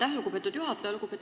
Aitäh, lugupeetud juhataja!